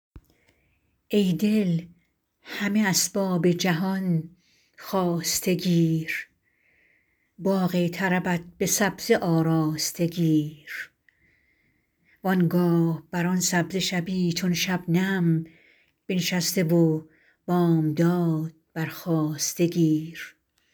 ای دل همه اسباب جهان خواسته گیر باغ طربت به سبزه آراسته گیر و آنگاه بر آن سبزه شبی چون شبنم بنشسته و بامداد برخاسته گیر